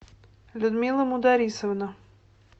людмила мударисовна